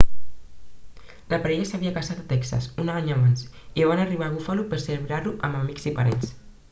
la parella s'havia casat a texas un any abans i van arribar a buffalo per celebrar-ho amb amics i parents